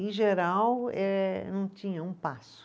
Em geral, eh não tinha um passo.